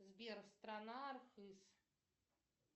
сбер страна архыз